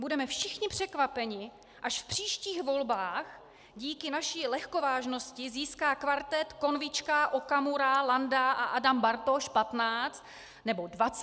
Budeme všichni překvapeni, až v příštích volbách díky naší lehkovážnosti získá kvartet Konvička, Okamura, Landa a Adam Bartoš 15 nebo 20 % hlasů.